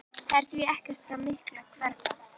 Það er því ekki frá miklu að hverfa.